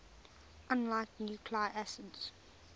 unlike nucleic acids